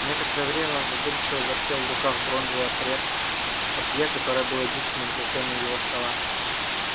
некоторое время он задумчиво вертел в руках бронзовое пресс-папье которое было единственным украшением его стола